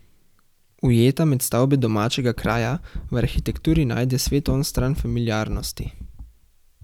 Ujeta med stavbe domačega kraja v arhitekturi najde svet onstran familiarnosti.